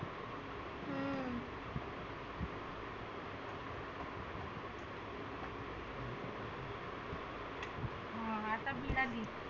हं आता लागली.